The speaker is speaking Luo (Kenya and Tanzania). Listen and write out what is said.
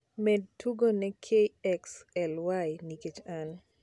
med tugone kxly nikech an